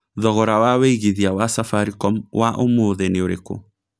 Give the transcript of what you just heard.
thogora wa wĩigĩthĩa wa safaricom wa ũmũthi ni ũrĩkũ